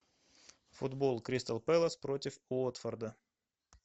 футбол кристал пэлас против уотфорда